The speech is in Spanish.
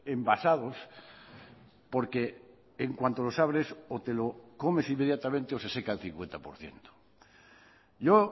embasados porque en cuanto los abres o te lo comes inmediatamente o se seca el cincuenta por ciento yo